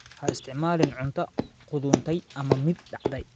Ha isticmaalin cunto qudhuntay ama mid dhacday.